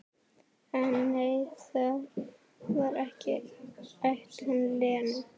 En nei, það var ekki ætlun Lenu.